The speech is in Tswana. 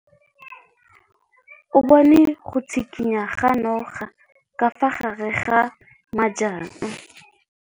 O bone go tshikinya ga noga ka fa gare ga majang.